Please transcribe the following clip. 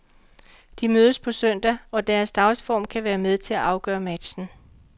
De mødes på søndag og deres dagsform kan være med til at afgøre matchen.